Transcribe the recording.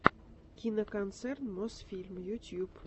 киноконцерн мосфильм ютуб